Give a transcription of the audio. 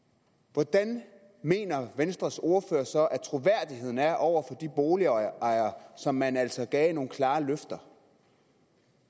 hvordan mener venstres ordfører så at troværdigheden er over for de boligejere som man altså gav nogle klare løfter